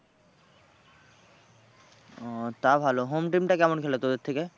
ও তা ভালো home team টা কেমন খেলে তোদের থেকে?